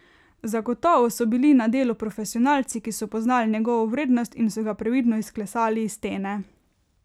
Zagotovo so bili na delu profesionalci, ki so poznali njegovo vrednost in so ga previdno izklesali iz stene.